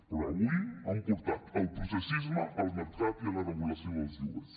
però avui han portat el processisme al mercat i a la regulació dels lloguers